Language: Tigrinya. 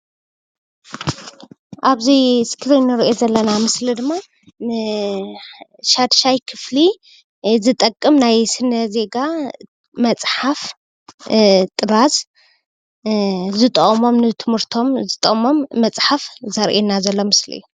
ኣብዚ እስክሪን እንሪኦ ዘለና ምስሊ ድማ ንሻድሻይ ክፍሊ ዝጠቅም ናይ ስነ-ዜጋ መፅሓፍ ጥራዝ ዝጠቅሞም ንትምህርቶም ዝጠቅሞም መፅሓፍ ዘርእየና ዘሎ ምስሊ እዩ።